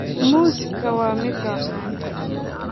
Muuska waa midho caan ah.